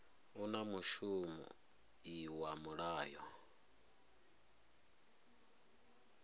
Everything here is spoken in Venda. u na mushumo iwa mulayo